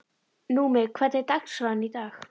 Númi, hvernig er dagskráin í dag?